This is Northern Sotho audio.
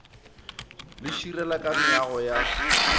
le širela ka meago ya